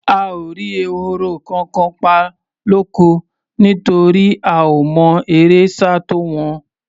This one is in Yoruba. A ò rí ehoro kankan pa lóko, nítorí a ò mọ eré sá tó wọn.